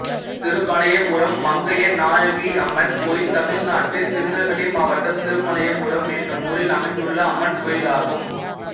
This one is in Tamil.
திருமலையப்பபுரம் மங்கை நாயகியம்மன் கோயில் தமிழ்நாட்டில் திருநெல்வேலி மாவட்டம் திருமலையப்பபுரம் என்னும் ஊரில் அமைந்துள்ள அம்மன் கோயிலாகும்